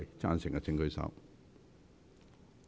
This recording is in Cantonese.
贊成的請舉手。